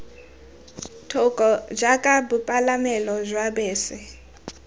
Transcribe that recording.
thoko jaaka bopalamelo jwa bese